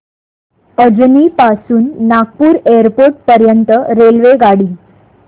अजनी पासून नागपूर एअरपोर्ट पर्यंत रेल्वेगाडी